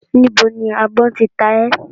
Níbo ni àgbọ̀n tí ta ẹ́?